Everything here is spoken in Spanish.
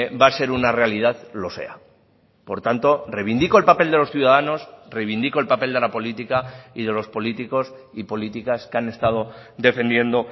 va a ser una realidad lo sea por tanto reivindico el papel de los ciudadanos reivindico el papel de la política y de los políticos y políticas que han estado defendiendo